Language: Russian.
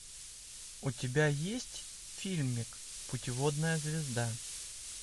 у тебя есть фильмик путеводная звезда